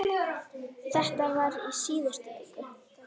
Þetta var í síðustu viku.